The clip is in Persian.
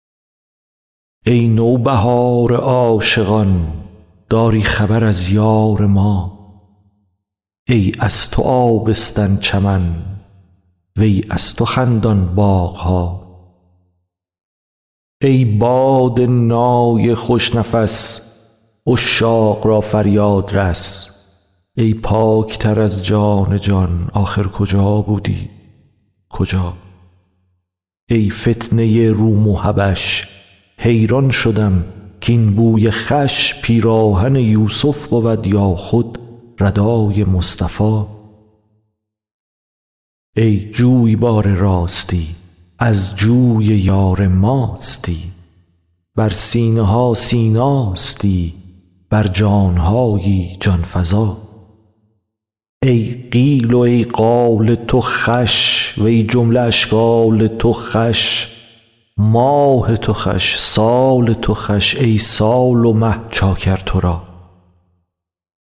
ای نوبهار عاشقان داری خبر از یار ما ای از تو آبستن چمن وی از تو خندان باغ ها ای باد نای خوش نفس عشاق را فریاد رس ای پاک تر از جان جا ن آخر کجا بودی کجا ای فتنه روم و حبش حیران شدم کاین بوی خوش پیراهن یوسف بود یا خود ردای مصطفی ای جویبار راستی از جوی یار ماستی بر سینه ها سیناستی بر جان هایی جان فزا ای قیل و ای قال تو خوش و ای جمله اشکال تو خوش ماه تو خوش سال تو خوش ای سال و مه چاکر تو را